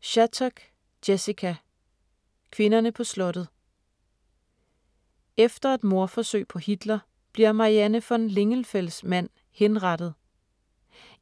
Shattuck, Jessica: Kvinderne på slottet Efter et mordforsøg på Hitler, bliver Marianne von Lingenfels mand henrettet.